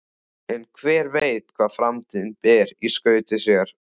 En hver veit hvað framtíðin ber í skauti sér?